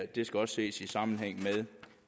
det skal også ses i sammenhæng med